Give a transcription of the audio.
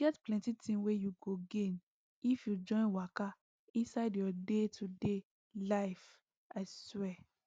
e get plenty thing wey you go gain if you join waka inside your daytoday life i swear